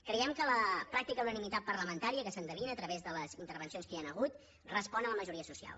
creiem que la pràctica unanimitat parlamentària que s’endevina a través de les intervencions que hi ha hagut respon a la majoria social